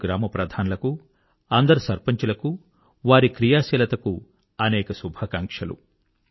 అందరు గ్రామ ప్రధానులకు అందరు సర్పంచులకు వారి క్రియాశీలతకు అనేక శుభాకాంక్షలు